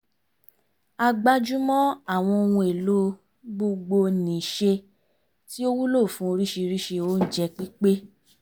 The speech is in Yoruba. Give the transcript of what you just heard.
a gbájúmọ́ àwọn ohun èlò gbogbo-nìṣe tí ó wúlò fún oríṣiríṣi oúnjẹ pípé